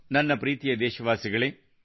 ನನ್ನ ಪ್ರೀತಿಯ ದೇಶವಾಸಿಗಳೇ